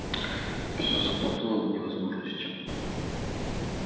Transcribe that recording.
всё запутано до невозможности